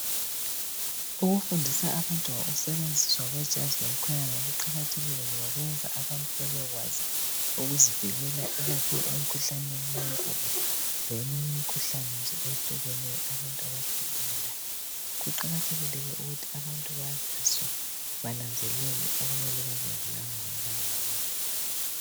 Ukufundisa abantu ngokusetshenziswa kwejazi lomkhwenyana kuqakathekile ngoba kuyenza abantu babekwazi ukuzivikela ikakhulu emikhuhlaneni leminye imikhuhlane nje ehlukeneyo abantu abahlala belayo. Kuqakathekile ke ukuthi abantu bayaziswe okumele bakwenze lokungamelanga bakwenze.